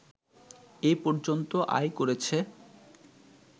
এ পর্যন্ত আয় করেছে